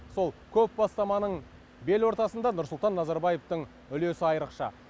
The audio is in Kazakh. сол көп бастаманың белортасында нұрсұлтан назарбаевтың үлесі айрықша